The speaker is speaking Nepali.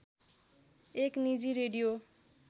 एक निजी रेडियो